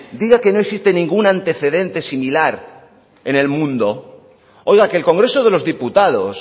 diga que no existe ningún antecedente similar en el mundo oiga que el congreso de los diputados